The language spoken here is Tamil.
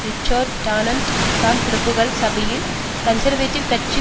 ரிச்சர்ட் டான்னட் தான் பிரபுக்கள் சபையில் கன்சர்வேட்டிவ் கட்சி